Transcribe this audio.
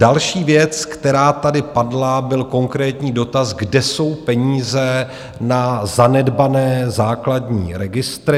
Další věc, která tady padla, byl konkrétní dotaz, kde jsou peníze na zanedbané základní registry.